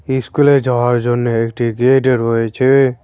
ইস্কুলে যাওয়ার জন্য একটি গেট রয়েছে।